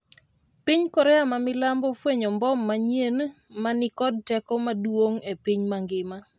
piny Korea ma milambo ofwenyo mbom manyien ma ni kod teko maduong' e piny mangima